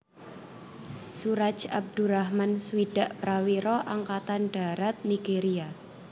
Suraj Abdurrahman swidak prawira Angkatan Dharat Nigéria